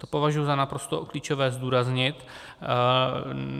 To považuji za naprosto klíčové zdůraznit.